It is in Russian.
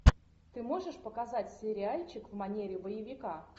ты можешь показать сериальчик в манере боевика